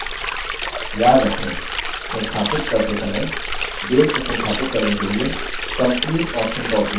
याद रखें संस्थापित करते समय base को संस्थापित करने के लिए complete option का उपयोग करें